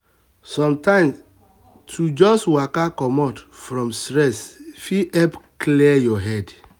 sometimes to just waka comot from stress fit help clear your head.